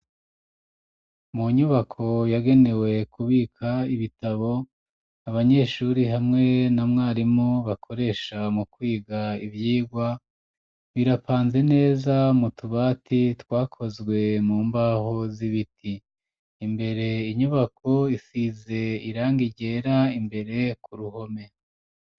Mu nyubako yagenewe kubika ibitabo ,abanyeshuri hamwe na mwarimu bakoresha mu kwiga ivyigwa, birapanze neza mu tubati twakozwe mu mbaho z'ibiti, imbere inyubako isize irangi ryera, imbere ku ruhome.